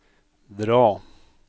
dra